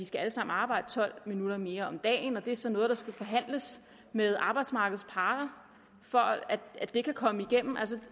skal arbejde tolv minutter mere om dagen og det er så noget der skal forhandles med arbejdsmarkedets parter for at det kan komme igennem